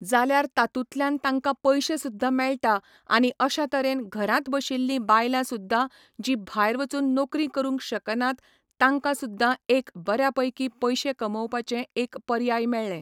जाल्यार तातूंतल्यान तांकां पयशे सुद्दां मेळटा आनी अश्या तरेन घरांत बशिल्लीं बायलां सुद्दां जीं भायर वचून नोकरी करूंक शकनात तांकां सुद्दां एक बऱ्या पैकी पयशे कमोवपाचें एक पर्याय मेळ्ळें